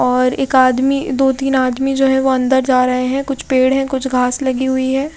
और एक आदमी दो तीन आदमी जो है वो अंदर जा रहे हैं कुछ पेड़ है कुछ घांस लगी हुई है।